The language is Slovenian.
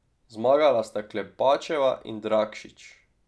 Zmagala sta Klepačeva in Dragšič.